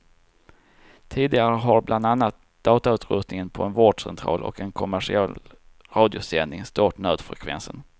Tidigare har bland annat datautrustningen på en vårdcentral och en kommersiell radiosändning stört nödfrekvensen.